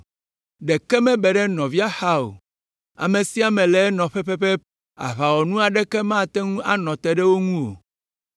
Ɖeke mebe ɖe nɔvia xa o. Ame sia ame le enɔƒe pɛpɛpɛ Aʋawɔnu aɖeke mate ŋu anɔ te ɖe wo ŋu o.